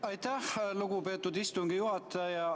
Aitäh, lugupeetud istungi juhataja!